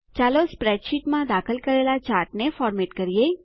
ચાલો સ્પ્રેડશીટમાં દાખલ કરેલા ચાર્ટને ફોર્મેટ કરીએ